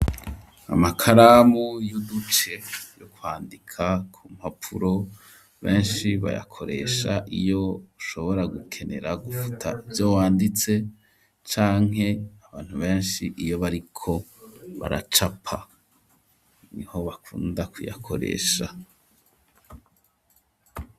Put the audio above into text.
amakaramu y'uduce yo kwandika ku mpapuro benshi bayakoresha iyo ushobora gukenera gufuta ivyo wanditse, canke abantu benshi iyo bariko baracapa, niho bakunda kuyakoresha.